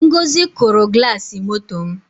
ngọzi kụrụ glasi moto m